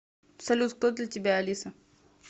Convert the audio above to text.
салют кто для тебя алиса